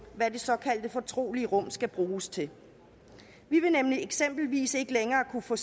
hvad det såkaldte fortrolige rum skal bruges til vi vil nemlig eksempelvis ikke længere kunne få